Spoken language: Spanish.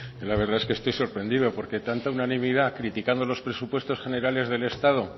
zurea da hitza la verdad es que estoy sorprendido porque tanta unanimidad criticando los presupuestos generales del estado